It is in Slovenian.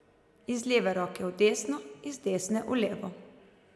Iz leve roke v desno, iz desne v levo.